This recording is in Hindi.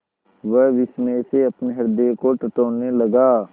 वह विस्मय से अपने हृदय को टटोलने लगा